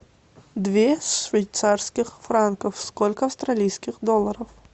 две швейцарских франков сколько австралийских долларов